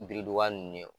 Biriduga nunnu ye